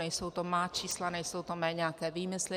Nejsou to má čísla, nejsou to mé nějaké výmysly.